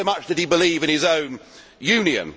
So much did he believe in his own Union.